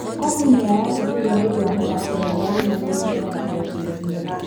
Kofu nĩatetire nĩũndũ wa mĩthako ĩrĩ yarũmanĩrĩire ya rigi ya Birimia.